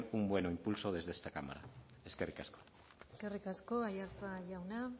un buen impulso desde esta cámara eskerrik asko eskerrik asko aiartza jauna